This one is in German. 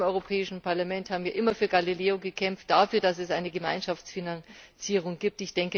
Auch wir im Europäischen Parlament haben immer für Galileo gekämpft, dafür, dass es eine Gemeinschaftsfinanzierung gibt.